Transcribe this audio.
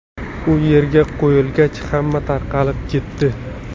U yerga qo‘yilgach, hamma tarqalib ketdi.